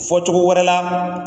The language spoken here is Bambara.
Fɔcogo wɛrɛ la